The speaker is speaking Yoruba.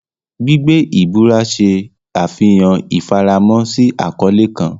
Gbigbe ibura ṣe afihan ifaramo si akọle kan.